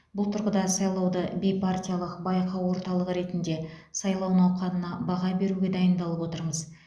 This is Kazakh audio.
бұл тұрғыда сайлауды бейпартиялық байқау орталығы ретінде сайлау науқанына баға беруге дайындалып отырмыз